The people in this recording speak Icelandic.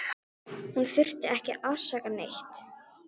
Hún þurfti ekki að afsaka neitt.